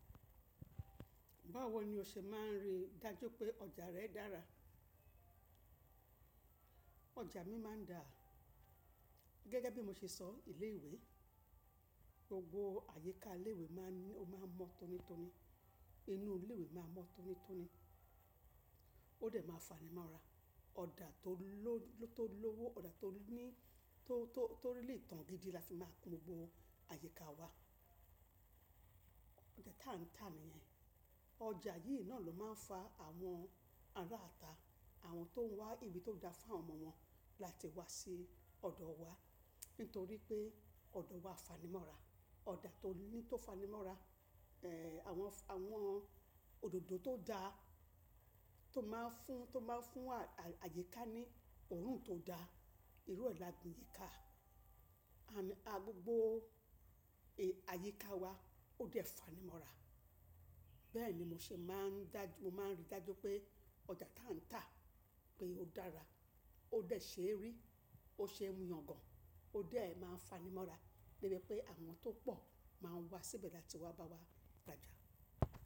Báwo ni o ṣe máà ń rí dájú pé ọjà rẹ dára? Ọjà mi máa ń da gẹ́gẹ́ bí mo ṣe sọ ilé ìwé, gbogbo àyíká ilé ìwé máa ń mọ́ tonítoní, inú ilé ìwé máa mọ́ tonítoní, ó dẹ̀ máa fanimọ́ra. Ọ̀dà tó lówó, ọ̀dà tó ní tó rí lè tàn gidi la fi máa kun gbogbo àyíká wa. Ọdẹ̀ tàǹtàǹ yẹn, ọjà yí náà ló máa ń fa àwọn ará àta àwọn tó ń wá ibi tó da fún ọmọ wọn láti wá sí ọ̀dọ̀ wa. Nítorí pé ọ̀dọ̀ wa fanimọ́ra, ọ̀dà tó ní tó fanimọ́ra, ẹ, àwọn òdòdó tó dá tó máa ń fún àyíká ní Òòrùn tó da, irú ẹ lọ́dọ̀ àyíká, a gbogbo è àyíká wa ó dẹ̀ fanimọ́ra. Bẹ́ẹ̀ ni mo ṣe máa ń rí dájú pé ọjà tàǹtàǹ pé ó dára, ó dẹ̀ ṣe ẹ́ rí, ó ṣe ń yàn gan, ó dẹ̀ a máa ń fanimọ́ra níbi pé àwọn tó pọ̀ máa ń wá síbẹ̀ láti wá bá wa gbàjà.